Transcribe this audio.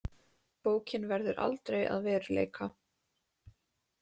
Bókin verður aldrei að veruleika.